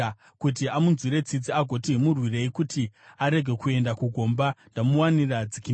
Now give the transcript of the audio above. kuti amunzwire tsitsi agoti, ‘Murwirei kuti arege kuenda kugomba; ndamuwanira dzikinuro,’